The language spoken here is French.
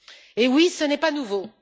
Eh oui, ce n'est pas nouveau!